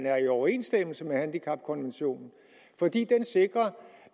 er i overensstemmelse med handicapkonventionen fordi den sikrer